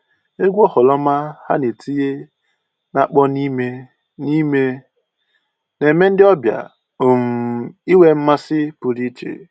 Egwu oghoroma ha na-etinye na-akpọ n'ime n'ime na-eme ndị ọbịa um inwe mmasị pụrụ iche